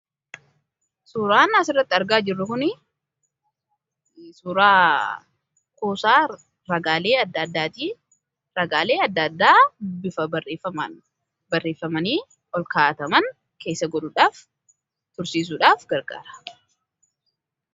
suuraan as irratti argaa jirru kun suuraa kuusaa ragaalee adda addaa ragaalee adda addaa bifa barreeffamanii ol kaa'ataman keessa godhuudhaaf tursiisuudhaaf gargaara